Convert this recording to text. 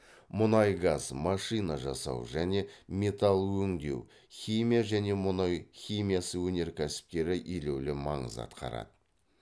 мұнай газ машина жасау және металл өңдеу химия және мұнай химиясы өнеркәсіптері елеулі маңыз атқарады